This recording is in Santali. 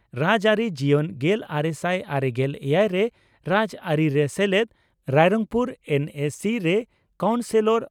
ᱨᱟᱡᱽᱟᱹᱨᱤ ᱡᱤᱭᱚᱱ ᱺ ᱜᱮᱞᱟᱨᱮᱥᱟᱭ ᱟᱨᱮᱜᱮᱞ ᱮᱭᱟᱭ ᱨᱮ ᱨᱟᱡᱽᱟᱹᱨᱤᱨᱮ ᱥᱮᱞᱮᱫ ᱾ᱨᱟᱭᱨᱚᱝᱯᱩᱨ ᱮᱱᱹᱮᱹᱥᱤᱹ ᱨᱮ ᱠᱟᱣᱩᱱᱥᱤᱞᱚᱨ